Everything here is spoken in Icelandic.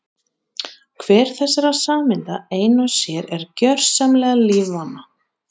Hver þessara sameinda ein og sér er gjörsamlega lífvana.